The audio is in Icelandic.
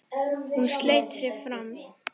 Hún sleit sig frá mér.